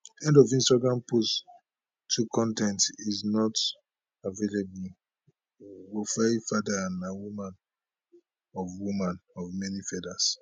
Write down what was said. end of instagram post 2 con ten t is not available wofaifada na woman of woman of many feathers